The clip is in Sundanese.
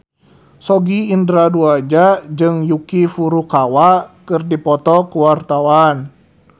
Sogi Indra Duaja jeung Yuki Furukawa keur dipoto ku wartawan